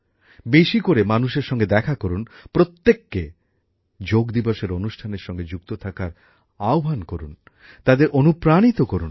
বেশি করে মানুষের সঙ্গে দেখা করুন প্রত্যেককে যোগ দিবসের অনুষ্ঠানের সঙ্গে যুক্ত থাকার আহ্বান জানান তাদের অনুপ্রাণিত করুন